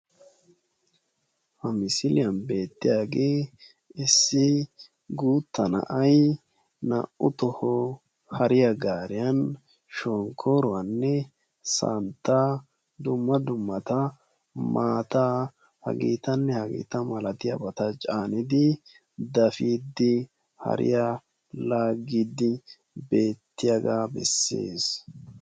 ha misiliyani betiyage issi guutta na"ay hare gariyani shonkooraa, santtaa ne maatta caanidi dafiidi hariyaa laagiyaga bessessi.